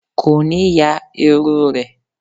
Ko ni ya iru re